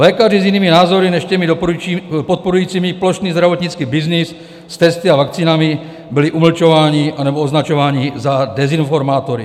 Lékaři s jinými názory než těmi podporujícími plošný zdravotnický byznys s testy a vakcínami byli umlčováni nebo označování za dezinformátory.